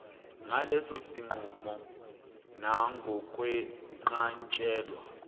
ngaleso sinqumo nangokwenqatshelwa